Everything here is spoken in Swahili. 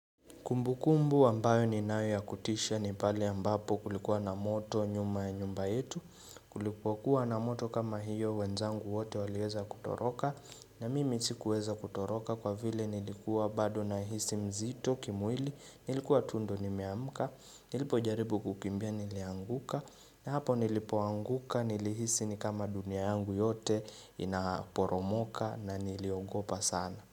Kumbukumbu ambayo ninayo ya kutisha ni pale ambapo kulikuwa na moto nyuma ya nyumba yetu tulipokuwa na moto kama hiyo wenzangu wote waliweza kutoroka na mimi sikuweza kutoroka kwa vile nilikuwa bado nahisi mzito kimwili nilikuwa tu ndo nimeamka nilipojaribu kukimbia nilianguka na hapo nilipoanguka nilihisi ni kama dunia yangu yote inaporomoka na niliogopa sana.